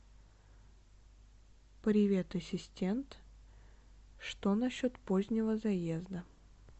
привет ассистент что насчет позднего заезда